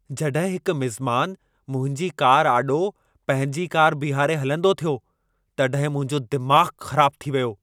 जॾहिं हिक मिंज़मान मुंहिंजी कार आॾो पंहिंजी कार बीहारे हलंदो थियो, तॾहिं मुंहिंजो दिमाग़ु ख़राबु थी वियो।